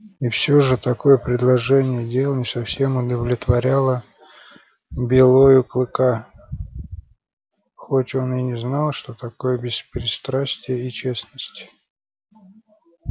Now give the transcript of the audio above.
и всё же такое положение дел не совсем удовлетворяло белою клыка хоть он и не знал что такое беспристрастие и честность